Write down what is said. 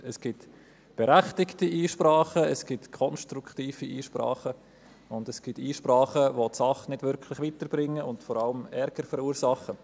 Es gibt berechtigte Einsprachen, es gibt konstruktive Einsprachen und es gibt Einsprachen, die die Sache nicht wirklich weiterbringen und vor allem Ärger verursachen.